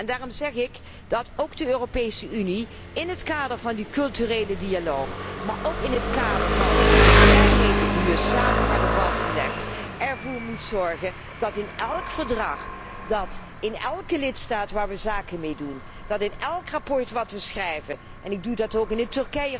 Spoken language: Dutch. Daarom zeg ik dat ook de Europese Unie in het kader van die culturele dialoog, maar ook in het kader van de vrijheden die we samen hebben vastgelegd, ervoor moet zorgen dat in elk verdrag, dat in elke lidstaat waarmee we zaken doen, dat in elk verslag dat we schrijven en ik doe dat ook in het